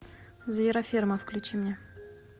звероферма включи мне